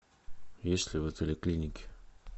есть ли в отеле клиники